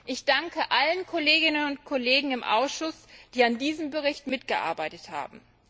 Ich danke allen Kolleginnen und Kollegen im Ausschuss, die an diesem Bericht mitgearbeitet haben.